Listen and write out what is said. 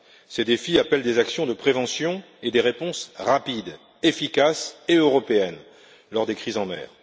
Ces défis appellent des actions de prévention et des réponses rapides, efficaces et européennes lors des crises en mer.